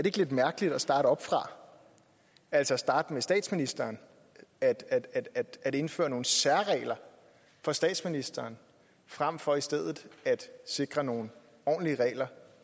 ikke lidt mærkeligt at starte oppefra altså starte med statsministeren at at indføre nogle særregler for statsministeren frem for i stedet at sikre nogle ordentlige regler